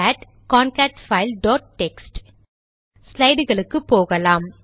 gate concat file dot text ஸ்லைடுக்கு போகலாம்